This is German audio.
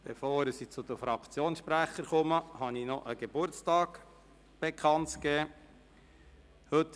Bevor ich zu den Fraktionssprechern komme, habe ich einen Geburtstag bekannt zu geben.